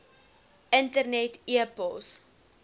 internet e pos